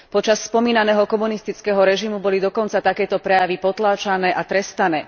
Počas spomínaného komunistického režimu boli dokonca takéto prejavy potláčané a trestané.